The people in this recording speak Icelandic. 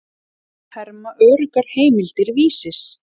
Þetta herma öruggar heimildir Vísis.